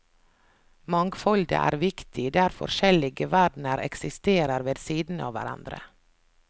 Mangfoldet er viktig, der forskjellige verdener eksisterer ved siden av hverandre.